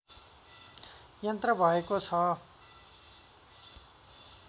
यन्त्र भएको छ